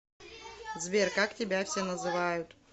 сбер как тебя все называют